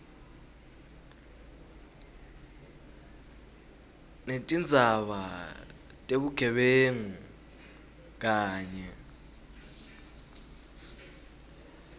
netindzaba tebugebengu kanye